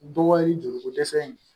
Dɔ ye joliko dɛsɛ in